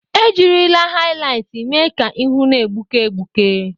E jirila hailitị mee ka ihu na-egbuke egbuke.